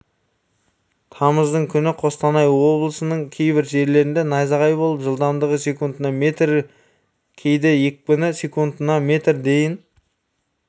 тамыздың күні қостанай облысының кейбір жерлерінде найзағай болып жылдамдығы секундына метр кейде екпіні секундына метрге дейін